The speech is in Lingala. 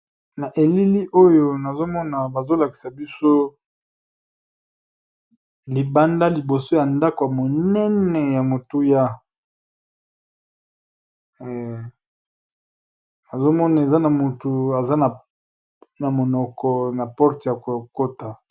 Na elili oyo nazo mona bazo lakisa biso libanda liboso ya ndako ya monene ya motuya nazo mona eza na motu eza na monoko na porte ya kokota .